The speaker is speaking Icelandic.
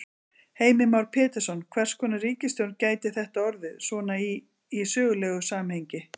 Heimir Már Pétursson: Hvers konar ríkisstjórn gæti þetta orðið svona í, í sögulegu samhengi?